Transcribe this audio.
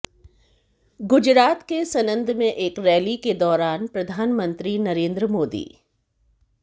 गुजरात के सनंद में एक रैली के दौरान प्रधानमंत्री नरेंद्र मोदी